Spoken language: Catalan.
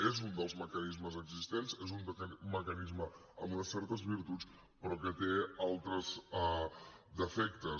és un dels mecanismes existents és un mecanisme amb unes certes virtuts però que té altres defectes